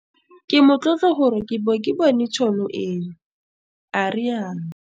Ke motlotlo gore ke bo ke bone tšhono eno, a rialo.